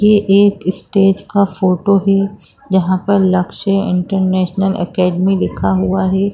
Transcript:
ये एक स्टेज का फोटो है जहाँ पर लक्ष्य इंटरनेशनल एकेडमी लिखा हुआ है।